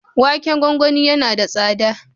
Waken gwagwani yana da tsada.